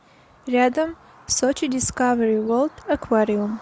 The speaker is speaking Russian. рядом сочи дискавери ворлд аквариум